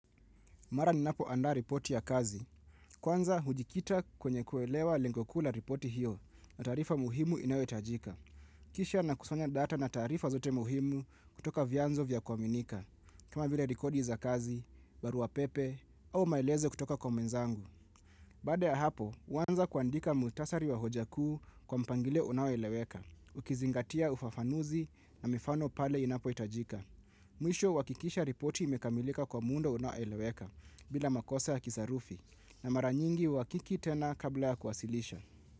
Mara ninapoanda ripoti ya kazi, kwanza hujikita kwenye kuelewa lengo kuu la ripoti hiyo na tarifa muhimu inayotajika. Kisha nakusanya data na tarifa zote muhimu kutoka vianzo vya kwaminika, kama vile rikodi za kazi, barua pepe, au maeleze kutoka kwa mwenzangu. Baada ya hapo, muanza kuandika muhtasari wa hojakuu kwa mpangilio unayoeleweka, ukizingatia ufafanuzi na mifano pale inapoitajika. Mwisho huakikisha ripoti imekamilika kwa muda unaoeleweka bila makosa ya kisarufi na mara nyingi huakiki tena kabla ya kuwasilisha.